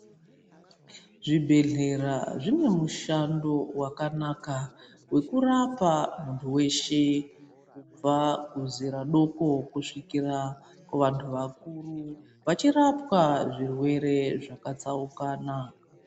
Zvibhedhlera zvine mushando wakanaka wekurapa muntu weshe kubva kuzera doko Kusvikira kuvantu vakuru vachirapa zvirwere zvakatsaukana.